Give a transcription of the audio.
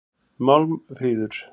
Málmfríður